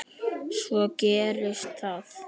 Svo gerist það.